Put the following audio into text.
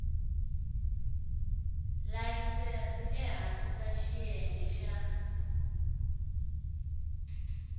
layisense ehansi ka xiyenge xa